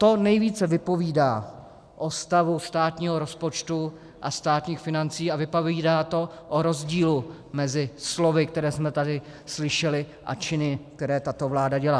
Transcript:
To nejvíce vypovídá o stavu státního rozpočtu a státních financí a vypovídá to o rozdílu mezi slovy, která jsme tady slyšeli, a činy, které tato vláda dělá.